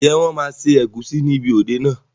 Ǹjẹ́ wọn máa ṣe ẹ̀gúsí níbi òde náà?